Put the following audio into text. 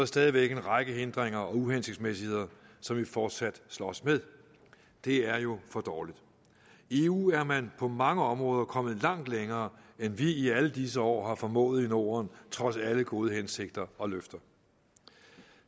stadig væk en række hindringer og uhensigtsmæssigheder som vi fortsat slås med det er jo for dårligt i eu er man på mange områder kommet langt længere end vi i alle disse år har formået i norden trods alle gode hensigter og løfter